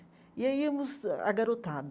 E aí íamos a Garotada.